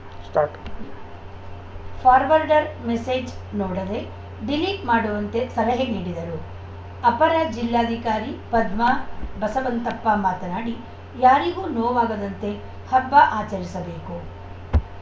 start forward message ನೋಡದೇ delete ಮಾಡುವಂತೆ ಸಲಹೆ ನೀಡಿದರು ಅಪರ ಜಿಲ್ಲಾಧಿಕಾರಿ ಪದ್ಮಾ ಬಸವಂತಪ್ಪ ಮಾತನಾಡಿ ಯಾರಿಗೂ ನೋವಾಗದಂತೆ ಹಬ್ಬ ಆಚರಿಸಬೇಕು